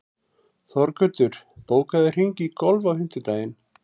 Þorgautur, bókaðu hring í golf á fimmtudaginn.